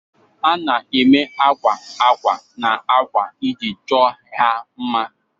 A na-eme akwa akwa na akwa iji chọọ ha mma